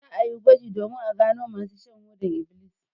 Za a yi gwaji domin a gano masu shan hodar ibilis.